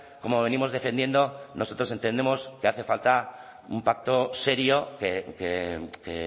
como venimos defendiendo nosotros entendemos que hace falta un pacto serio que